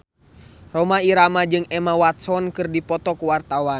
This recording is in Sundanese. Rhoma Irama jeung Emma Watson keur dipoto ku wartawan